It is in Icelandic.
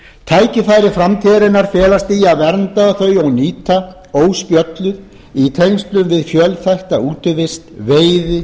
tækifæri framtíðarinnar felast í að vernda þau og nýta óspjölluð í tengslum við fjölþætta útivist veiði